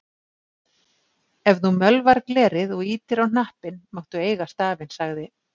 Ef þú mölvar glerið og ýtir á hnappinn máttu eiga stafinn, sagði